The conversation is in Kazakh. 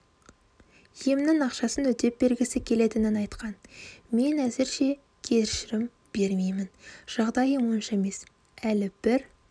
емнің ақшасын өтеп бергісі келетінін айтқан мен әзірше кешірім бермеймін жағдайым онша емес әлі бір